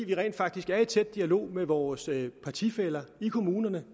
vi rent faktisk er i tæt dialog med vores partifæller i kommunerne og